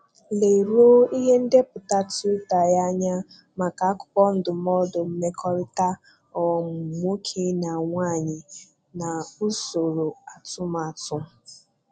Leruo ihe ndepụta Twitter ya anya maka akụkọ ndụmọdụ mmekọrịta um nwoke na nwaanyị na usoro atụmatụ.